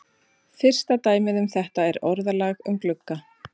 Fyrsta dæmið um þetta er orðalag um glugga.